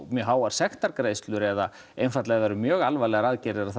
mjög háar sektargreiðslur eða einfaldlega ef eru mjög alvarlegar aðgerðir að